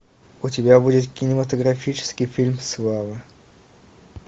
у тебя будет кинематографический фильм слава